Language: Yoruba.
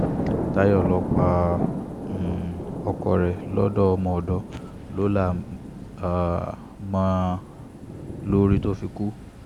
táyọ̀ lọ́ pa um ọkọ rẹ̀ lọ́dọ̀ ọmọ ọ̀dọ̀ ló là um mọ́ ọn lórí tó fi kú